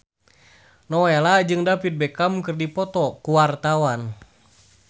Nowela jeung David Beckham keur dipoto ku wartawan